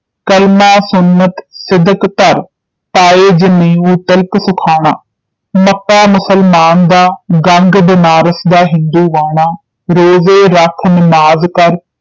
ਕਲਮਾਂ ਸੁੰਨਤ ਸਿਦਕ ਧਰਿ ਪਾਇ ਜਨੇਉ ਤਿਲਕੁ ਸੁਖਾਣਾ ਸਥਾ ਮੁਸਲਮਾਨ ਦਾ ਗੰਗ ਬਨਾਰਸ ਦਾ ਹਿੰਦੂਵਾਣਾ ਰੋੜੇ ਰਖਿ ਨਿਮਾਜ਼ ਕਰਿ